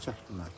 Dəqiq.